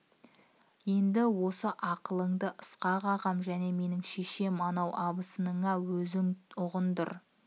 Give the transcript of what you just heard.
енді осы ақылынды ысқақ ағам және менің шешем анау абысыныңа өзің ұғындыр